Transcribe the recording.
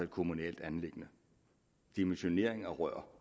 kommunalt anliggende dimensioneringen af rør